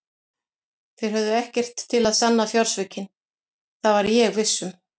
Þeir höfðu ekkert til að sanna fjársvikin, það var ég viss um.